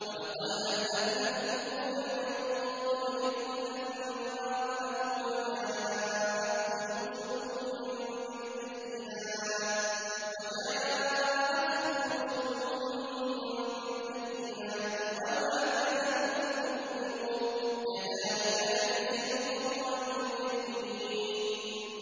وَلَقَدْ أَهْلَكْنَا الْقُرُونَ مِن قَبْلِكُمْ لَمَّا ظَلَمُوا ۙ وَجَاءَتْهُمْ رُسُلُهُم بِالْبَيِّنَاتِ وَمَا كَانُوا لِيُؤْمِنُوا ۚ كَذَٰلِكَ نَجْزِي الْقَوْمَ الْمُجْرِمِينَ